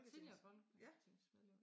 Tidligere folketingsmedlem